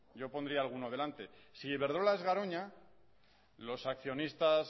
yo pondría alguno delante si iberdrola es garoña los accionistas